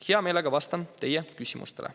Hea meelega vastan teie küsimustele.